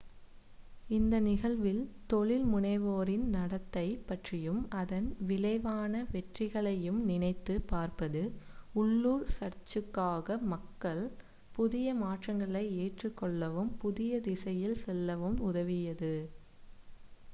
இந்த நிகழ்வில் தொழில் முனைவோரின் நடத்தை பற்றியும் அதன் விளைவான வெற்றிகளையும் நினைத்துப் பார்ப்பது உள்ளூர் சர்சுக்காக மக்கள் புதிய மாற்றங்களை ஏற்றுக் கொள்ளவும் புதிய திசையில் செல்லவும் உதவியது